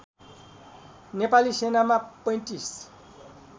नेपाली सेनामा ३५